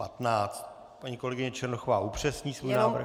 Paní kolegyně Černochová upřesní svůj návrh.